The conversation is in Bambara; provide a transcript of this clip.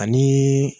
Ani